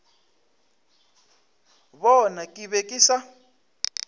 bona ke be ke sa